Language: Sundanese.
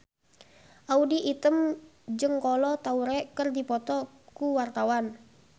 Audy Item jeung Kolo Taure keur dipoto ku wartawan